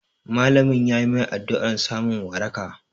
Malamin yayi mai addu'ar samun waraka